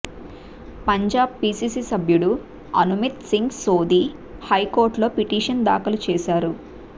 Punjab PCC సభ్యుడు అనుమిత్ సింగ్ సోధీ హైకోర్టులో petition దాఖలు చేశారు